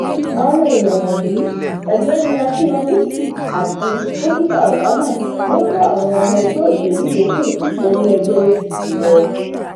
àwọn èèyàn wọnyí ọgbẹni wálé akinlọṣọtù àti dókítà obama ló kó àwọn ọmọ ẹgbẹ òṣèlú yòókù wọnú ẹgbẹ apc lọ